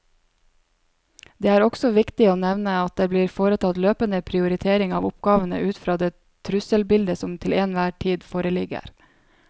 Det er også viktig å nevne at det blir foretatt løpende prioritering av oppgavene ut fra det trusselbildet som til enhver tid foreligger.